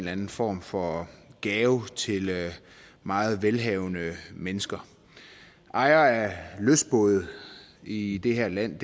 anden form for gave til meget velhavende mennesker ejere af lystbåde i det her land